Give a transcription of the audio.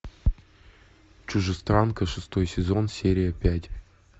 чужестранка шестой сезон серия пять